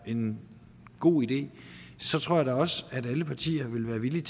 en god idé tror jeg da også at alle partier vil være villige